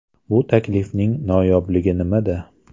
Bu taklifning noyobligi nimada?